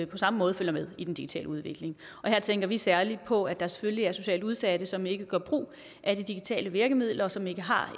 på samme måde følger med i den digitale udvikling og her tænker vi særlig på at der selvfølgelig er socialt udsatte som ikke gør brug af de digitale virkemidler og som ikke har